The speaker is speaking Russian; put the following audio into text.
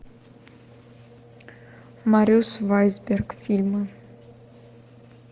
марюс вайсберг фильмы